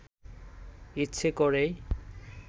ইচ্ছে করেই